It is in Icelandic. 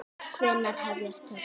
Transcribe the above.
Hvenær hefjast tökur?